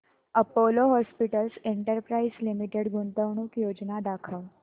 Apollo hospitals enterprise limited गुंतवणूक योजना दाखव